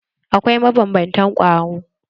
Akwai mabanbantan kwaro